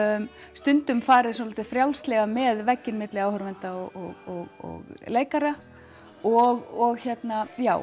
stundum farið svolítið frjálslega með vegginn milli áhorfenda og leikara og já